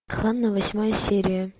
ханна восьмая серия